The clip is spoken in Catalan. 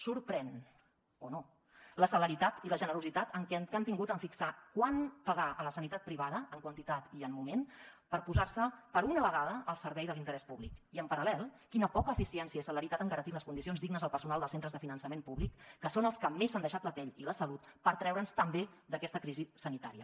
sorprèn o no la celeritat i la generositat que han tingut en fixar quant pagar a la sanitat privada en quantitat i en moment per posar se per una vegada al servei de l’interès públic i en paral·lel quina poca eficiència i celeritat en garantir les condicions dignes al personal dels centres de finançament públic que són els que més s’han deixat la pell i la salut per treure’ns també d’aquesta crisi sanitària